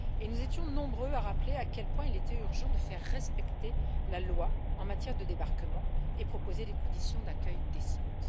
Et nous étions nombreux à rappeler à quel point il était urgent de faire respecter la loi en matière de débarquement et de proposer des conditions d'accueil décentes.